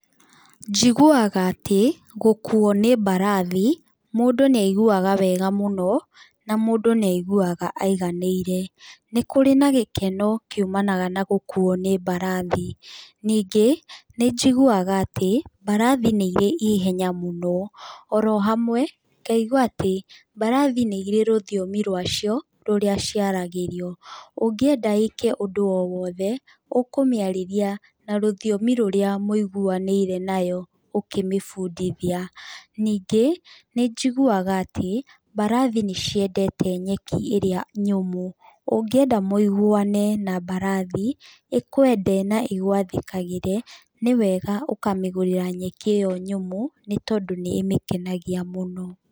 Njiguaga atĩ gũkuo nĩ mbarathi mũndũ nĩaiguaga wega mũno, na mũndũ nĩaiguaga aiganĩire. Nĩ kũrĩ na gĩkeno kiumanaga na gũkuo nĩ mbarathi, ningĩ nĩ njiguaga atĩ mbarathi nĩ irĩ ĩhenya mũno orohamwe ngaigua atĩ mbarathi nĩire rũthiomi rwacĩo rũria cĩaragĩrio. Ũngĩenda ĩke ũndũ owothe ũkũmĩarĩria na rũthiomi rũrĩa mũiguanĩire nayo ũkĩmĩbundithia. Ningĩ nĩ njiguaga atĩ mbarathi nĩ ciendete nyeki ĩria nyũmũ. Ũngĩenda mũiguane na mbarathi ĩkwende na ĩgwathĩkagĩre, nĩwega ũkamĩgũrĩra nyeki ĩyo nyũmũ nĩ tondũ nĩĩmĩkenagia mũno.